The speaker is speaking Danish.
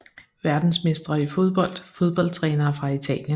Verdensmestre i fodbold Fodboldtrænere fra Italien